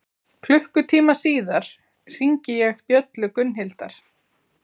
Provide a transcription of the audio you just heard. Klukkutíma síðar hringi ég bjöllu Gunnhildar.